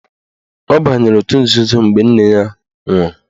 Ọ banyere otu nzuzo mgbe nne ya nwụrụ